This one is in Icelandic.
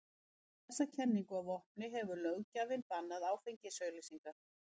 Með þessa kenningu að vopni hefur löggjafinn bannað áfengisauglýsingar.